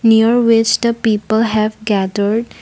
here waste the people have gathered.